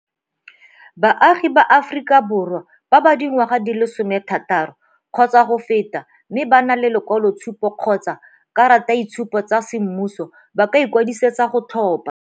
Baagi ba Aforika Borwa ba ba dingwaga di le 16 kgotsa go feta mme ba na le lekwaloitshupo kgotsa karataitshupo tsa semmuso ba ka ikwadisetsa go tlhopha.